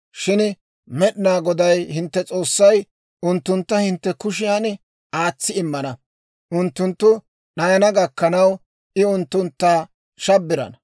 Shin Med'inaa Goday hintte S'oossay unttuntta hintte kushiyan aatsi immana; unttunttu d'ayana gakkanaw, I unttuntta shabbirana.